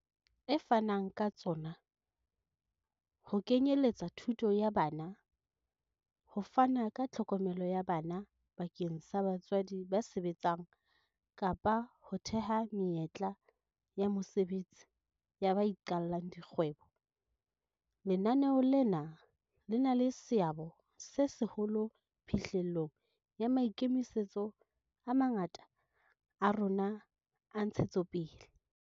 E fanang ka tsona, ho kenye letsa thuto ya bana, ho fana ka tlhokomelo ya bana bakeng sa batswadi ba sebetsang kapa ho theha menyetla ya mosebetsi ya ba iqallang di kgwebo, lenaneo lena le na le seabo se seholo phihlellong ya maikemisetso a mangata a rona a ntshetsopele.